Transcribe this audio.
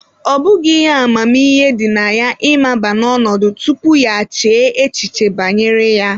Ọ bụghị ihe amamihe dị na ya ịmaba n'ọnọdụ tupu ya echee echiche banyere ya